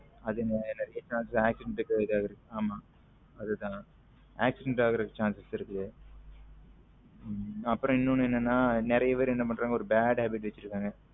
அதுனாலத்தான் accident இது ஆகுறது ஆமா அது தான் accident ஆகுறதுக்கு chances இருக்கு அப்பரம் இன்னும் ஒன்னு என்ன நறிய பேரு என்னன்னா ஒரு bad habit வைசுருகாங்க